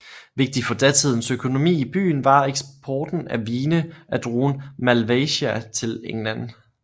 Vigtig for datidens økonomi i byen var eksporten af vine af druen Malvasia til England